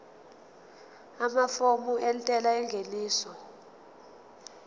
amafomu entela yengeniso